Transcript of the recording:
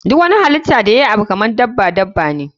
Duk wani halitta da yayi Abu kaman daban you daban ne.